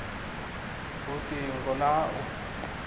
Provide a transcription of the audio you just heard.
lut ingo na ha u